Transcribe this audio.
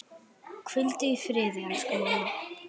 Hvíldu í friði, elsku mamma.